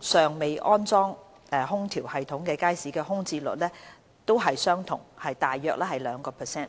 尚未裝設空調系統的街市的空置率同為約 2%。